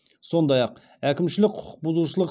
сондай ақ әкімшілік құқық бұзушылық